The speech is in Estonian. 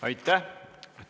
Aitäh!